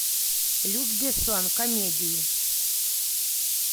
люк бессон комедии